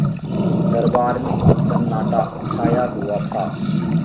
दरबार में सन्नाटा छाया हुआ था